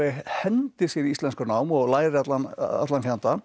hendir sér í íslenskunám og lærir allan allan fjandann